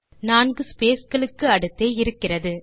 நான்கு ஸ்பேஸ் களுக்கு அடுத்தே இருக்கிறது